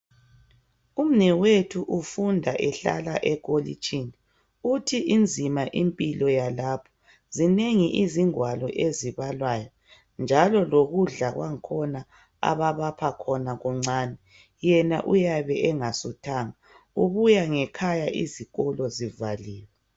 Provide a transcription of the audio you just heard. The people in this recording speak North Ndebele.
Umnewethu ufunda ehlala ekolitshini uthi inzima impilo yalapho zinengi izingwalo ezibalwayo njalo lokudla kwakhona ababapha khona kuncane yena uyabe engasuthanga ubuya ngekhaya izikolo zivaliwe.